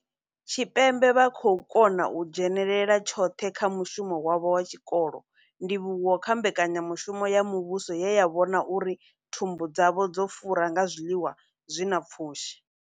Tshipembe vha khou kona u dzhenela tshoṱhe kha mushumo wavho wa tshikolo, ndivhuwo kha mbekanya mushumo ya muvhuso ye ya vhona uri thumbu dzavho dzo fura nga zwiḽiwa zwi na pfushi.